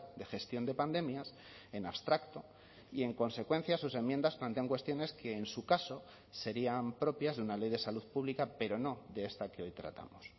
de gestión de pandemias en abstracto y en consecuencia sus enmiendas plantean cuestiones que en su caso serían propias de una ley de salud pública pero no de esta que hoy tratamos